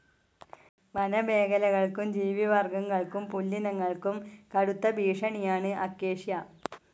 വനമേഖലകൾക്കും ജീവിവർഗങ്ങൾക്കും പുല്ലിനങ്ങൾക്കും കടുത്ത ഭീഷണിയാണ് അക്കേഷ്യ.